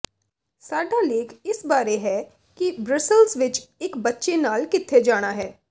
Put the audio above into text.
ਸਾਡਾ ਲੇਖ ਇਸ ਬਾਰੇ ਹੈ ਕਿ ਬ੍ਰਸਲਜ਼ ਵਿਚ ਇਕ ਬੱਚੇ ਨਾਲ ਕਿੱਥੇ ਜਾਣਾ ਹੈ